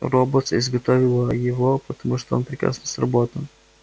роботс изготовила его потому что он прекрасно сработан